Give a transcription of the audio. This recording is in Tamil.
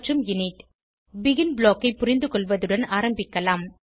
இனிட் பெகின் ப்ளாக் ஐ புரிந்துகொள்வதுடன் ஆரம்பிக்கலாம்